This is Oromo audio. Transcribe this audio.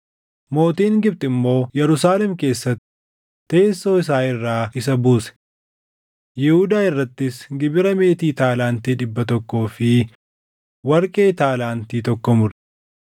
Mootiin Gibxi immoo Yerusaalem keessatti teessoo isaa irraa isa buuse; Yihuudaa irrattis gibira meetii taalaantii dhibba tokkoo fi warqee taalaantii tokko mure.